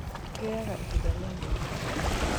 Kĩoyaga ihinda rĩa mĩeri ĩtatũ.